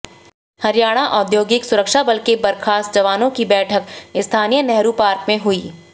हरियाणा औद्योगिक सुरक्षा बल के बर्खास्त जवानों की बैठक स्थानीय नेहरू पार्क में हुई